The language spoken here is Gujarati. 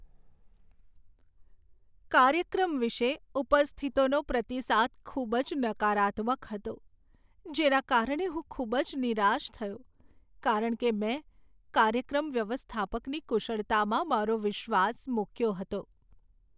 કાર્યક્રમ વિશે ઉપસ્થિતોનો પ્રતિસાદ ખૂબ જ નકારાત્મક હતો, જેના કારણે હું ખૂબ જ નિરાશ થયો કારણ કે મેં કાર્યક્રમ વ્યવસ્થાપકની કુશળતામાં મારો વિશ્વાસ મૂક્યો હતો.